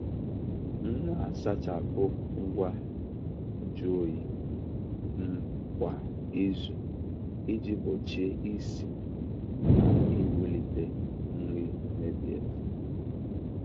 um Na-asachapụ ngwa nju oyi um kwa izu iji gbochie isi na iwulite nri mebiela.